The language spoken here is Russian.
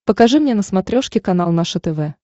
покажи мне на смотрешке канал наше тв